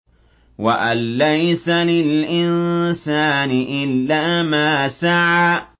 وَأَن لَّيْسَ لِلْإِنسَانِ إِلَّا مَا سَعَىٰ